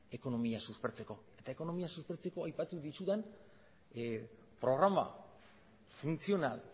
ekonomia suspertzeko eta ekonomia suspertzeko aipatu dizudan programa funtzional